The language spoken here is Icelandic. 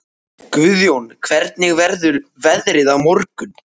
Guðjón, hvernig verður veðrið á morgun?